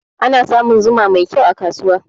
Ana samun zuma mai kyau a kasuwa.